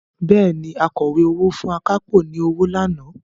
Bẹ́ẹ̀ni, Akọ̀wé owó fún akápò ní owó lánàá